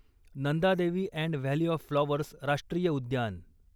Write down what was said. Nanda Devi and valley of flowers राष्ट्रीय उद्यान